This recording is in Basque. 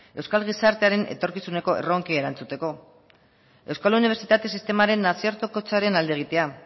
euskal gizartearen etorkizuneko erronkei erantzuteko euskal unibertsitate sistemaren nazioartekotzearen alde egitea